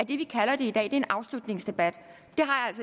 vi kalder det i dag er en afslutningsdebat